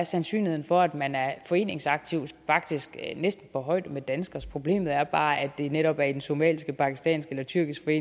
sandsynligheden for at man er foreningsaktiv faktisk næsten på højde med danskeres problemet er bare at det netop er i den somaliske pakistanske eller tyrkiske